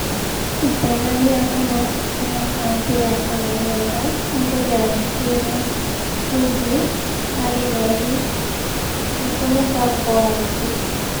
itĩna rĩa kana rĩa kambĩ ya kũmenyerera andũ rĩarutĩirwo Ruby hari reri( mubango wa Ruby)